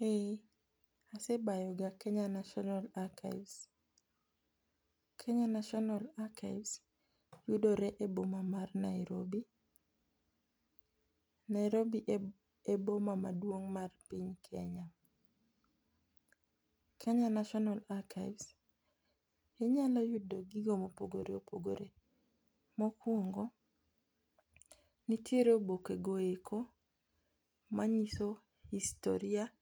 Eh ase bayoga e Kenya National Archives. Kenya National Archives yudore e boma ma Nairobi. Nairobi e boma maduong' mar piny Kenya. Kenya National Archives inyalo yudo gigo mopogore opogore, mokuongo nitiere oboke goeko manyiso historia